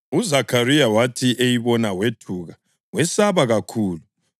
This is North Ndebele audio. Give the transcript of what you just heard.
UZakhariya wathi eyibona wethuka wesaba kakhulu.